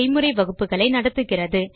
செய்முறை வகுப்புகளை நடத்துகிறது